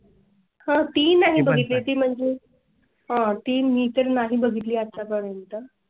ह ती ही बघितली ती म्हणजे. आह ती मी तर नाही बघितली आता. पर्यंत म्हणजे